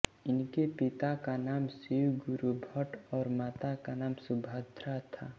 इनके पिता का नाम शिवगुरु भट्ट और माता का नाम सुभद्रा था